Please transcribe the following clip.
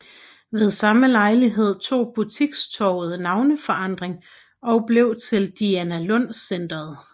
Ved samme lejlighed tog butikstorvet navneforandring og blev til Dianalund Centret